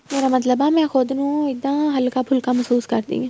ਮੇਰਾ ਮਤਲਬ ਹੈ ਮੈਂ ਖੁੱਦ ਨੂੰ ਇੱਦਾਂ ਹੱਲਕਾ ਫੁਲਕਾ ਮਹਿਸੂਸ ਕਰਦੀ ਆ